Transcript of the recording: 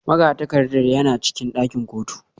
Magatakarda yana cikin ɗakin kotu